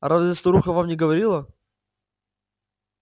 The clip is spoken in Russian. разве старуха вам не говорила